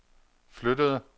flyttede